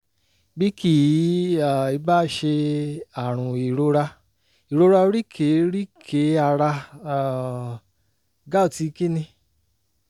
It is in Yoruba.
bí kì um í bá ṣe àrùn ìrora ìrora oríkèé-rí-kèé ara um gout kí ni?